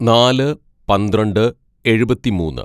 "നാല് പന്ത്രണ്ട് എഴുപത്തിമൂന്ന്‌